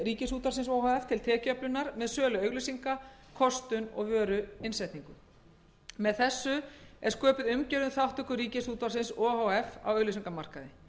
ríkisútvarpsins o h f til tekjuöflunar með sölu auglýsinga kostun og vöruinnsetningu með þessu er sköpuð umgjörð um þátttöku ríkisútvarpsins o h f á auglýsingamarkaði